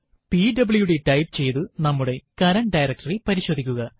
PWD type ചെയ്തു നമ്മുടെ current directory പരിശോധിക്കുക